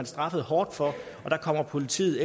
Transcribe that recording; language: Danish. straffet hårdt for og at politiet